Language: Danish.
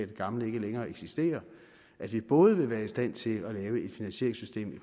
det gamle ikke længere eksisterer at vi både vil være i stand til at lave et finansieringssystem i